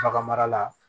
Bagan mara la